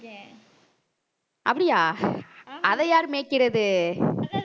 அப்படியா அதை யாரு மேய்க்கிறது